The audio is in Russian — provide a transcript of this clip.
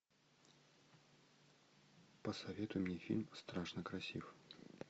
посоветуй мне фильм страшно красив